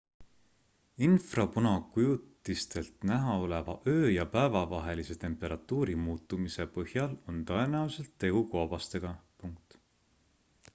infrapunakujutistelt näha oleva öö ja päeva vahelise temperatuuri muutumise põhjal on tõenäoliselt tegu koobastega